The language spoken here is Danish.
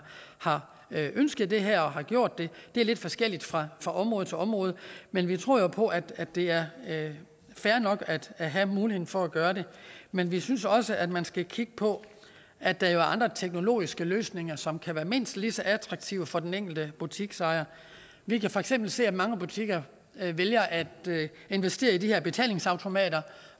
har ønsket det her og gjort det det er lidt forskelligt fra fra område til område men vi tror på at det er fair nok at have muligheden for at gøre det men vi synes også at man skal kigge på at der jo er andre teknologiske løsninger som kan være mindst lige så attraktive for den enkelte butiksejer vi kan for eksempel se at mange butikker vælger at investere i de her betalingsautomater